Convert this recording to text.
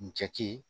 N cɛ ci